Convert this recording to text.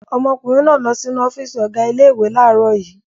Ọmọkùnrin náà lọ sínú ọ́fíísì ọ̀gá ilé-ìwé láàárọ̀ yìí.